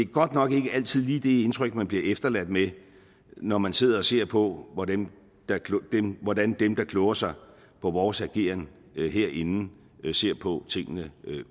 godt nok ikke altid lige det indtryk man bliver efterladt med når man sidder og ser på hvordan hvordan dem der kloger sig på vores ageren herinde ser på tingene